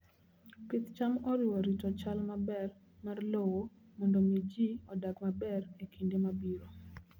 Pith cham oriwo rito chal maber mar lowo mondo mi ji odag maber e kinde mabiro.